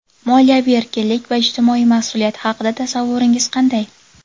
Moliyaviy erkinlik va ijtimoiy mas’uliyat haqida tasavvuringiz qanday?.